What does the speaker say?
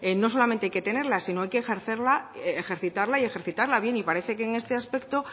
no solamente hay que tenerlo sino que hay que ejercerla ejercitarla y ejercitarla bien y parece que en este aspecto